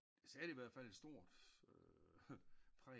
Satte ihvertfald et stor præg